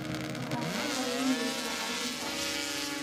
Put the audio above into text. Waxaad ku qaylinaysaa carruurta.